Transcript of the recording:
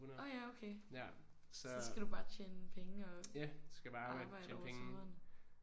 Orh ja okay. Så skal du bare tjene penge og arbejde over sommeren